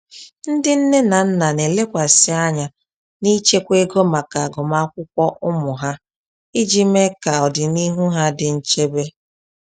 Ndị nne na nna na-elekwasị anya n’ịchekwa ego maka agụmakwụkwọ ụmụ ha iji mee ka ọdịnihu ha dị nchebe.